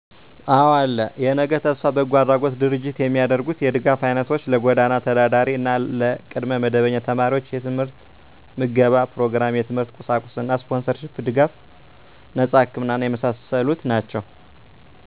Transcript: አወ አለ *የነገ ተስፋ በጎ አድራጎት ድርጅት የሚያደርጉት የ ድጋፍ አይነቶች -ለጎዳና ተዳዳሪ እና ለቅድመ መደበኛ ተማሪወች የት/ት ምገባ ኘሮግራም -የት/ት ቁሳቁስ እና ስፖንሰር ሺፕ ድጋፍ ድጋፍ -ነጸ ህክምና እና የመሳሰሉት ናቸዉ